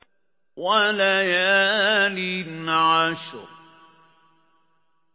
وَلَيَالٍ عَشْرٍ